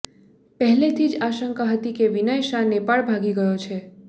પહેલેથી જ આશંકા હતી કે વિનય શાહ નેપાળ ભાગી ગયો છે